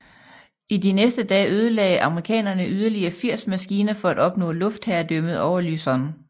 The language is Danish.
I de næste dage ødelagde amerikanerne yderligere 80 maskiner for at opnå luftherredømmet over Luzon